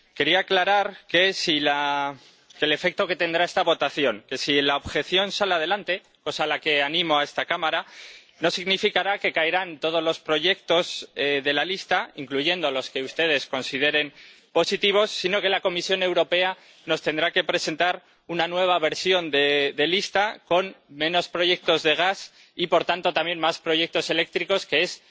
Quería aclarar el efecto que tendrá esta votación si la objeción sale adelante —cosa a la que animo a esta Cámara—, ello no significará que caigan todos los proyectos de la lista, incluidos los que ustedes consideren positivos, sino que la Comisión Europea nos tendrá que presentar una nueva versión de lista con menos proyectos de gas y, por tanto también, más proyectos eléctricos, que es